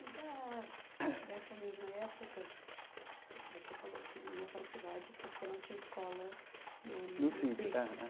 E da, dessa mesma época, vo você falou que ia para a cidade porque não tinha escola no no no sítio eh eh sítio.